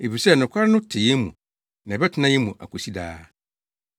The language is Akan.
efisɛ nokware no te yɛn mu na ɛbɛtena yɛn mu akosi daa: